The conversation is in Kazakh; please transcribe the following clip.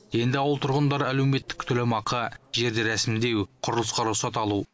енді ауыл тұрғындары әлеуметтік төлемақы жерді рәсімдеу құрылысқа рұқсат алу